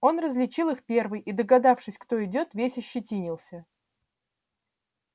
он различил их первый и догадавшись кто идёт весь ощетинился